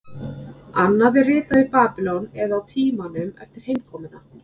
Annað er ritað í Babýlon eða á tímanum eftir heimkomuna.